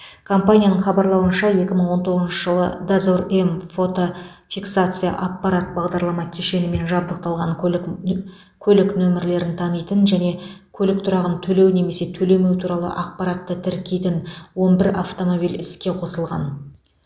компанияның хабарлауынша екі мың он тоғызыншы жылы дозор м фотофиксация аппарат бағдарлама кешенімен жабдықталған көлік нө көлік нөмірлерін танитын және көлік тұрағын төлеу немесе төлемеу туралы ақпаратты тіркейтін он бір автомобиль іске қосылған